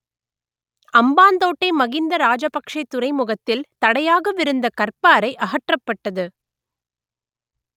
அம்பாந்தோட்டை மகிந்த ராஜபக்‌ஷே துறைமுகத்தில் தடையாகவிருந்த கற்பாறை அகற்றப்பட்டது